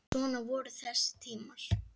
Svona voru þessi tímar.